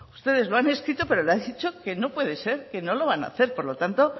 ustedes lo han escrito pero le han dicho que no puede ser que no lo van a hacer por lo tanto